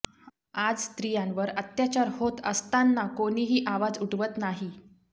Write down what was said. आज स्त्रियांवर अत्याचार होत असतांना कोणीही आवाज उठवत नाही